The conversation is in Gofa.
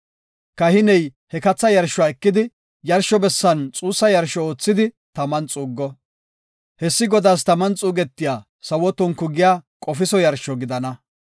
Kahiney he katha yarshuwa ekidi, yarsho bessan xuussa yarsho oothidi taman xuuggo. Hessi Godaas taman xuugetiya sawo tonku giya qofiso yarsho gidana.